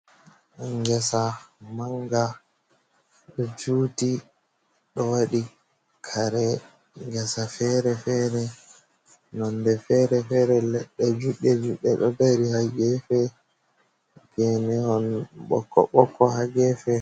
Ngesa mannga ɗo juuti, ɗo wooɗi kare ngesa feere-feere, nonnde feere-feere, leɗɗe juuɗɗe- juuɗɗe ɗo dari haa geefe, geene on ɓokko-ɓokko haa geefe.